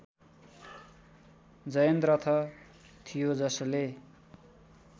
जयन्द्रथ थियो जसले